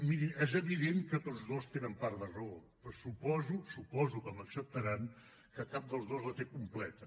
mirin és evident que tots dos tenen part de raó però suposo suposo que m’acceptaran que cap dels dos la té completa